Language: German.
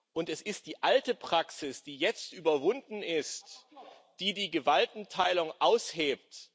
Und es ist die alte Praxis, die jetzt überwunden ist, die die Gewaltenteilung aushebelt.